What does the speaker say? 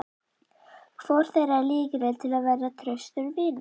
Hvor þeirra er líklegri til að verða traustur vinur?